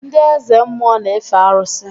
Ndị Eze mmụọ na-efe arụsị